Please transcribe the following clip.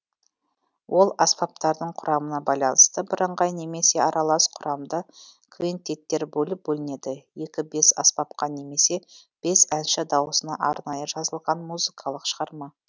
ол аспаптардың құрамына байланысты бірыңғай немесе аралас құрамды квинтеттер болып бөлінеді екі бес аспапқа немесе бес әнші дауысына арнайы жазылған музыкалық шығарма